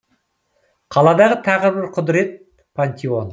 қаладағы тағы бір құдірет пантеон